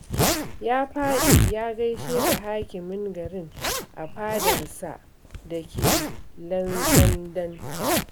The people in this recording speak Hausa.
Ya faɗi ya gaishe da hakimin garin a fadarsa da ke Lantsandan